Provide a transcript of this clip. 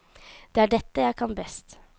Det er dette jeg kan best.